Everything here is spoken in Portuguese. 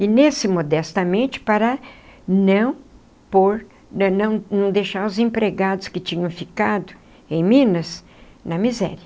E nesse modestamente para não por não não não deixar os empregados que tinham ficado em Minas na miséria.